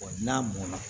n'a mɔnna